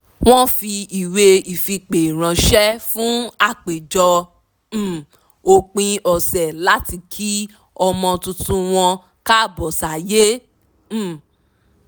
wọ́n fi ìwé ìfipè ránṣé fún àpéjọ um òpin ọ̀sẹ̀ láti kí ọmọ tuntun wọn káàbọ̀ sáyé um